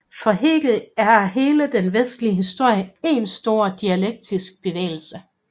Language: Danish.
For Hegel er hele den vestlige historie én stor dialektisk bevægelse